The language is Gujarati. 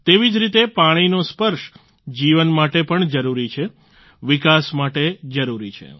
તેવી જ રીતે પાણીનો સ્પર્શ જીવન માટે પણ જરૂરી છે વિકાસ માટે જરૂરી છે